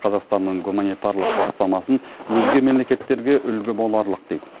қазақстанның гуманитарлық бастамасын өзге мемлекеттерге үлгі боларлық дейді